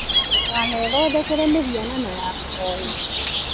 Ndũkanethondekere mĩhianano ya kũhoywo